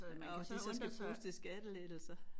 Og det så skal bruges til skattelettelser